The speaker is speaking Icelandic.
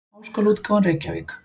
Háskólaútgáfan Reykjavík.